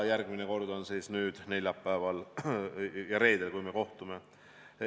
Järgmine kord toimub see neljapäeval ja reedel, kui me kohtume.